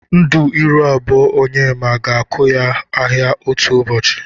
Ndu ịrụ abụọ Onyema ga-akụ ya ahịa otu ụbọchi.